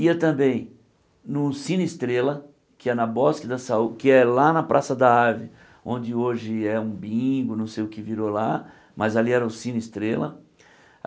Ia também no Cine Estrela, que é na Bosque da sau que é lá na Praça da Árvore, onde hoje é um bingo, não sei o que virou lá, mas ali era o Cine Estrela.